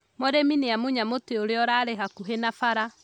Mũrĩmi nĩamunya mũtĩ ũrĩa ũrarĩ hakũhĩ na bara